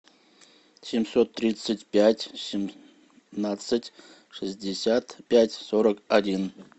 семьсот тридцать пять семнадцать шестьдесят пять сорок один